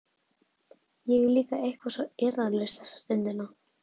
Ég er líka eitthvað svo eirðarlaus þessa stundina.